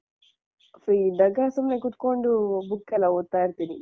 Free ಇದ್ದಾಗ ಸುಮ್ನೆ ಕುತ್ಕೊಂಡು book ಯೆಲ್ಲಾ ಓದ್ತಾ ಇರ್ತಿನಿ.